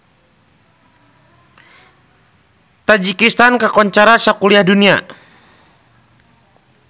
Tajikistan kakoncara sakuliah dunya